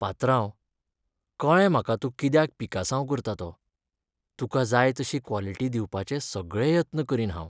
पात्रांव, कळ्ळें म्हाका तूं कित्याक पिकासांव करता तो. तुका जाय तशी क्वालिटी दिवपाचे सगळे यत्न करीन हांव.